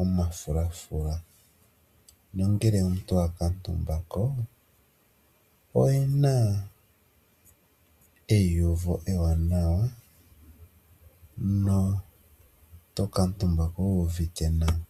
omafula. Ngele omuntu owa kuutumba ko oyi na eyiyuvo ewaanawa na oto kuutumbako wuuvite nawa.